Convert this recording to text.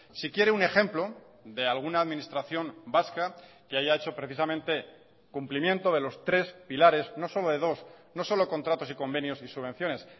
si quiere un ejemplo de alguna administración vasca que haya hecho precisamente cumplimiento de los tres pilares no solo de dos no solo contratos y convenios y subvenciones